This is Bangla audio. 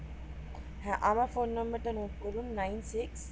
হ্যাঁ আমার ফোন নাম্বার টা note করুন nine six